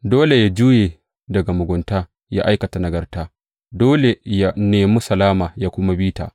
Dole yă juye daga mugunta, ya aikata nagarta; dole yă nemi salama yă kuma bi ta.